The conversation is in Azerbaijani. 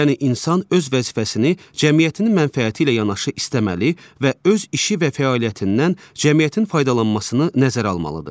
Yəni insan öz vəzifəsini cəmiyyətin mənfəəti ilə yanaşı istəməli və öz işi və fəaliyyətindən cəmiyyətin faydalanmasını nəzərə almalıdır.